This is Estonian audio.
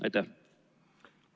Aitäh!